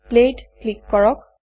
play ত click কৰক